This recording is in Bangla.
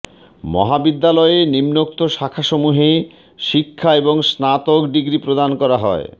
মহাবিদ্যালয়ে নিম্নোক্ত শাখাসমূহে শিক্ষা এবং স্নাতক ডিগ্রী প্রদান করা হয়